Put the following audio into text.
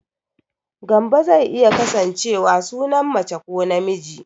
Gambo zai iya kasancewa sunan mace ko namiji